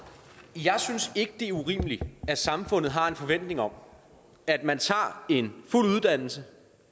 jeg synes ikke det er urimeligt at samfundet har en forventning om at man tager en fuld uddannelse